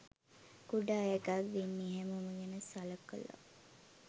කුඩා එකක් දෙන්නේ හැමෝම ගැන සලකලා.